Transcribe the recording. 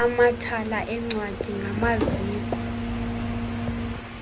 amathala eencwadi ngamaziko